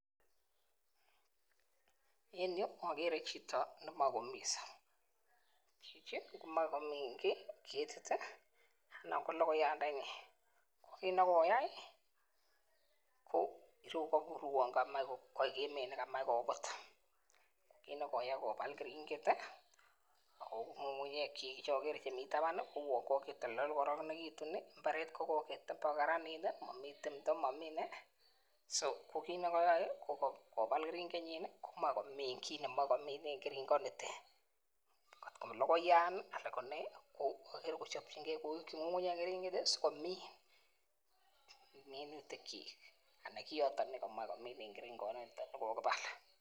En yu akere chito nemakomiso. Chichi komae komin ketit ih, noon ko logoiyat ndenyin kit nekoyai ko kabur kouu mi nekamuch kobut kobal keringet ih , Ako ng'ung'ungnyekchik chemi taban kokokitoltol kokaranegitun ih . Mbaret kokeren kokaranit ih , mbaret so kit nekayae ko kobal keringet komae komin kit nemae komin en keringet nitet kot ko logoiyan agere kochabchinge siko miin minutik chik annan Kioto nekokibal